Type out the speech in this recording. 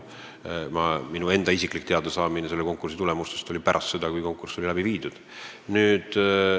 Isiklikult sain konkursi tulemusest teada pärast, kui see oli toimunud.